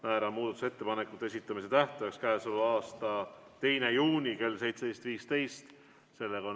Määran muudatusettepanekute esitamise tähtajaks k.a 2. juuni kell 17.15.